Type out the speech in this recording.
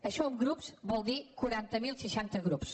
això en grups vol dir quaranta mil seixanta grups